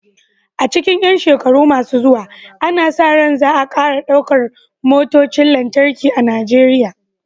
A cikin ƴan shekaru masu zuwa, ana sa ran za a ƙara ɗaukar motocin lantarki a Najeriya.